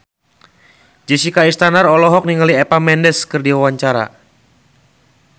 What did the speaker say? Jessica Iskandar olohok ningali Eva Mendes keur diwawancara